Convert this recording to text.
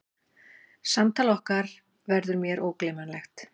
Samtal okkar verður mér ógleymanlegt.